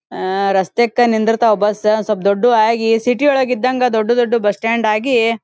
ಅಅ ರಸ್ತೆಕ್ಕ್ ನಿಂತಿರ್ತಾವು ಬಸ್ಸ ಸಪ್ ದೊಡ್ಡವು ಆಗಿ ಸಿಟಿ ಯೊಳಗಿದ್ದಂಗ ದೊಡ್ಡ ದೊಡ್ಡ ಬಸ್ ಸ್ಟಾಂಡ್ ಆಗಿ --